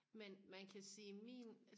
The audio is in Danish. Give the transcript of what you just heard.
men man kan sige min